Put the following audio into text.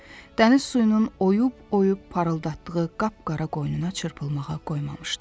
Dəniz suyunun oyub-oyub parıldatdığı qapqara qoynuna çırpılmağa qoymamışdı.